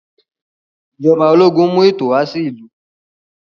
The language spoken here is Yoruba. Ijọba ológun mú ètò wà sí ìlú.